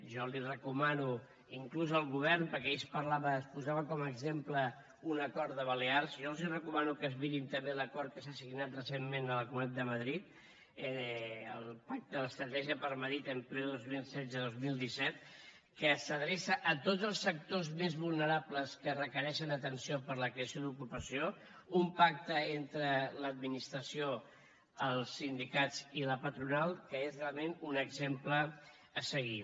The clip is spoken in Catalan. jo li recomano inclús al govern perquè ahir es parlava es posava com a exemple un acord de balears jo els recomano que es mirin també l’acord que s’ha signat recentment a la comunitat de madrid el pacte estratègia madrid por el empleo dos mil setze dos mil disset que s’adreça a tots els sectors més vulnerables que requereixen atenció per a la creació d’ocupació un pacte entre l’administració els sindicats i la patronal que és realment un exemple a seguir